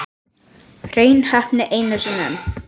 Hrein heppni einu sinni enn.